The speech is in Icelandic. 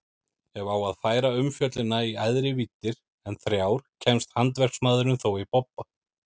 Ef á að færa umfjöllunina í æðri víddir en þrjár kemst handverksmaðurinn þó í bobba.